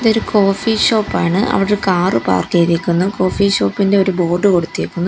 ഒരു കോഫി ഷോപ്പാണ് അവടൊരു കാറ് പാർക്ക് ചെയ്തേക്കുന്നു കോഫി ഷോപ്പ് ഇൻ്റെ ഒരു ബോർഡ് കൊടുത്തേക്കുന്നു.